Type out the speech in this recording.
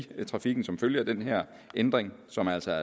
trafikken som følge af den her ændring som altså